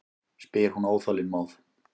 spyr hún óþolinmóð.